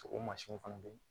O mansinw fana bɛ yen